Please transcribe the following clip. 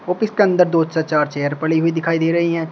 Office के अंदर दो चार चेयर पड़ी हुई दिखाई दे रही हैं।